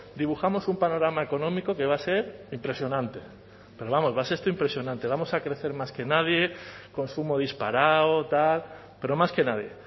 dibujamos un panorama económico que va a ser impresionante pero vamos esto impresionante vamos a crecer más que nadie consumo disparado pero más que nadie